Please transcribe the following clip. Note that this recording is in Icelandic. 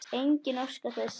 Enginn óskar þess.